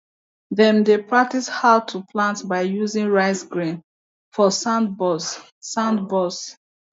dem dey practise how to plant by using rice grain for sandbox sandbox